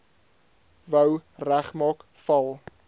wou regmaak val